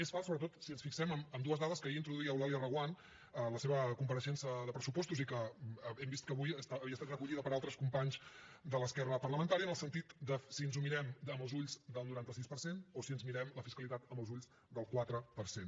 és fals sobretot si ens fixem en dues dades que ahir introduïa eulàlia reguant a la seva compareixença de pressupostos i que hem vist que avui havia estat recollida per altres companys de l’esquerra parlamentària en el sentit de si ens ho mirem amb els ulls del noranta sis per cent o si ens mirem la fiscalitat amb els ulls del quatre per cent